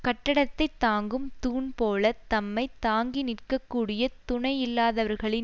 கட்டடத்தைத் தாங்கும் தூண் போல தம்மை தாங்கி நிற்க கூடிய துணையில்லாதவர்களின்